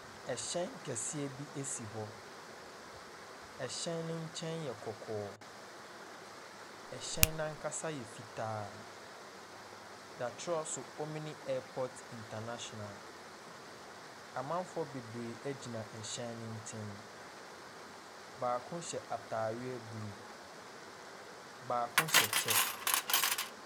Ɛhyɛn kɛseɛ bi si hɔ. Ɛhyɛn no nkyɛn yɛ kɔkɔɔ. Ɛhyɛn no ankasa yɛ fitaa. Wɔatwerɛ so Omini airpot international. Amanfoɔ bebree gyina ɛhyɛn no nkyɛn. Baako hyɛ atadeɛ blue. Baako hyɛ kyɛ.